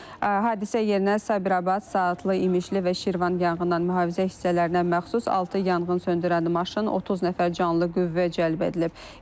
Hadisə yerinə Sabirabad, Saatlı, İmişli və Şirvan yanğından mühafizə hissələrinə məxsus altı yanğın söndürən maşın, 30 nəfər canlı qüvvə cəlb edilib.